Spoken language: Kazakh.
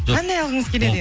қандай алғыңыз келеді